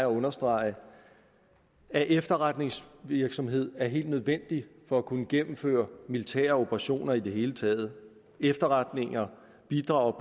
understrege at efterretningsvirksomhed er helt nødvendigt for at kunne gennemføre militære operationer i det hele taget efterretninger bidrager